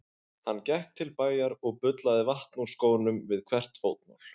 Hann gekk til bæjar og bullaði vatn úr skónum við hvert fótmál.